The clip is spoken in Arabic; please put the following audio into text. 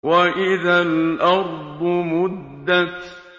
وَإِذَا الْأَرْضُ مُدَّتْ